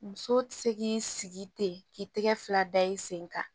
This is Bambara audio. Muso tɛ se k'i sigi ten k'i tɛgɛ fila da i sen kan